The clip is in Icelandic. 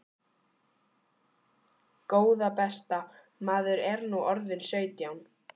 Góða besta. maður er nú orðinn sautján!